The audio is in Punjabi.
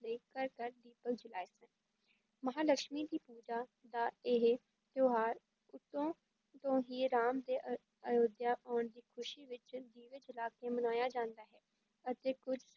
ਲਈ ਘਰ ਘਰ ਦੀਪਕ ਜਲਾਏ ਸਨ, ਮਹਾਂਲਕਸ਼ਮੀ ਦੀ ਪੂਜਾ ਦਾ ਇਹ ਤਿਉਹਾਰ ਉਦੋਂ ਤੋਂ ਹੀ ਰਾਮ ਦੇ ਅ~ ਅਯੋਧਿਆ ਆਉਣ ਦੀ ਖ਼ਸ਼ੀ ਵਿੱਚ ਦੀਵੇ ਜਲਾ ਕੇ ਮਨਾਇਆ ਜਾਂਦਾ ਹੈ, ਅਤੇ ਕੁੱਝ